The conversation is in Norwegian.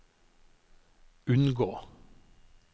unngå